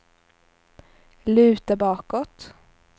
luta bakåt